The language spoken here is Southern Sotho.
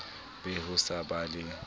be ho sa ba le